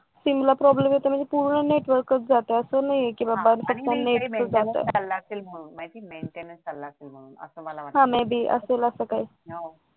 Simla problem येतोय म्हणजे पूर्ण नेटवर्क जातंय अस नाहीये की बाबा फक्त नेट जातंय हा may be असेल असं काही